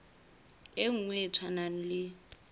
e nngwe e tshwanang le